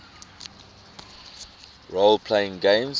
role playing games